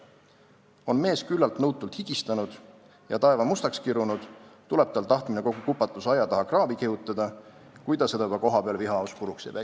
On mees küllalt nõutult higistanud ja taeva mustaks kirunud, tuleb tal tahtmine kogu kupatus aia taha kraavi kihutada, kui ta seda juba kohapeal vihahoos puruks ei peksa.